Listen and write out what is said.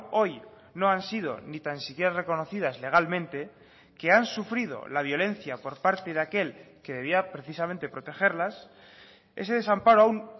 hoy no han sido ni tan siquiera reconocidas legalmente que han sufrido la violencia por parte de aquel que debía precisamente protegerlas ese desamparo aún